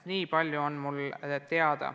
Nii palju on mul teada.